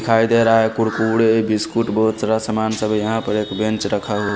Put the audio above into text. दिखाई दे रहा है कुरकुड़े बिस्कूट बहुत सारा सामान था एक बेंच रखा है।